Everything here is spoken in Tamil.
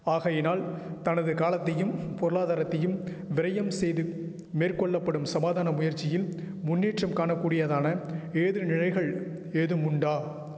ஆகையினால் தனது காலத்தையும் பொருளாதரத்தையும் விரயம் செய்து மேற்கொள்ள படும் சமாதான முயற்சியில் முன்னேற்றம் காணக்கூடியதான ஏது நிலைகள் ஏதும் உண்டா